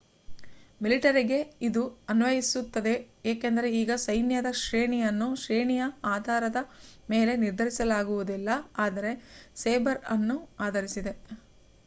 ಮಿಲಿಟರಿಗೆ ಇದು ಅನ್ವಯಿಸುತ್ತದೆ ಏಕೆಂದರೆ ಈಗ ಸೈನ್ಯದ ಶ್ರೇಣಿಯನ್ನು ಶ್ರೇಣಿಯ ಆಧಾರದ ಮೇಲೆ ನಿರ್ಧರಿಸಲಾಗುವುದಿಲ್ಲ ಆದರೆ ಸೇಬರ್ ಅನ್ನು ಆಧರಿಸಿದೆ